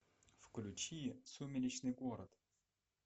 включи сумеречный город